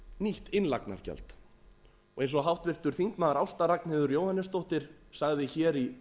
nýtt innlagnargjald eins og háttvirtur þingmaður ásta ragnheiður jóhannesdóttir sagði hér í